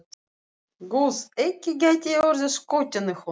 Guð, ekki gæti ég orðið skotin í honum.